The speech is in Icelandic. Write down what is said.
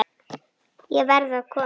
Ég verð að koma